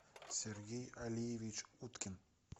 сергей алиевич уткин